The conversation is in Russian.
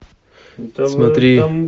смотри